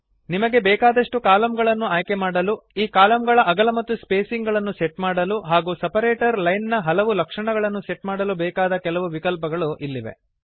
ನಿಮಗೆ ಬೇಕಾದಷ್ಟು ಕಲಮ್ಗಳನ್ನು ಆಯ್ಕೆಮಾಡಲು ಈ ಕಲಮ್ಗಳ ಅಗಲ ಮತ್ತು ಸ್ಪೇಸಿಂಗ್ ಗಳನ್ನು ಸೆಟ್ ಮಾಡಲು ಹಾಗೂ ಸೆಪರೇಟರ್ ಲೈನ್ ನ ಹಲವು ಲಕ್ಷಣಗಳನ್ನು ಸೆಟ್ ಮಾಡಲು ಬೇಕಾದ ಕೆಲವು ವಿಕಲ್ಪಗಳು ಇಲ್ಲಿವೆ